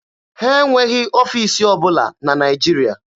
Ha enweghị ọfiisi ọbụla na Naịjirịa.